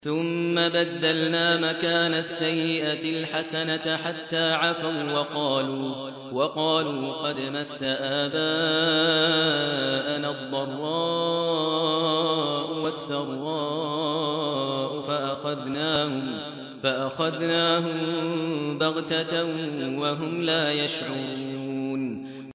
ثُمَّ بَدَّلْنَا مَكَانَ السَّيِّئَةِ الْحَسَنَةَ حَتَّىٰ عَفَوا وَّقَالُوا قَدْ مَسَّ آبَاءَنَا الضَّرَّاءُ وَالسَّرَّاءُ فَأَخَذْنَاهُم بَغْتَةً وَهُمْ لَا يَشْعُرُونَ